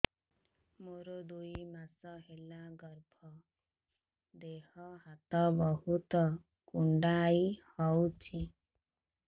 ମୋର ଦୁଇ ମାସ ହେଲା ଗର୍ଭ ଦେହ ହାତ ବହୁତ କୁଣ୍ଡାଇ ହଉଚି